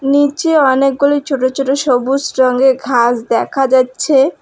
নিচে অনেকগুলি ছোট ছোট সবুজ রঙের ঘাস দেখা যাইচ্ছে।